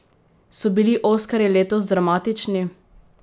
So bili oskarji letos dramatični?